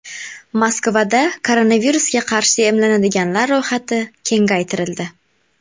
Moskvada koronavirusga qarshi emlanadiganlar ro‘yxati kengaytirildi.